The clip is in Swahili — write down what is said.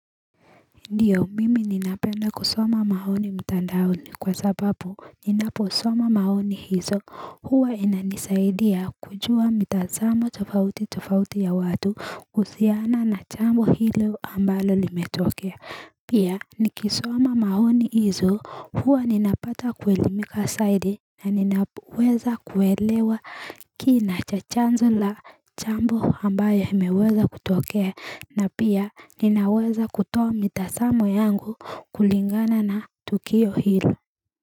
Ndiyo mimi ninapenda kusoma mahoni mtandaoni kwa sababu ninaposoma mahoni hizo huwa inanisaidia kujua mitazamo tofauti tofauti ya watu kuhusiana na jambo hilo ambalo limetokea Pia nikisoma mahoni hizo huwa ninapata kuelimika saidi na ninaweza kuelewa kina cha chanzo la jambo ambayo imeweza kutokea na pia ninaweza kutoa mitasamo yangu kulingana na tukio hilo.